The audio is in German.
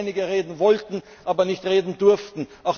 Ich weiß, dass einige reden wollten, aber nicht reden durften.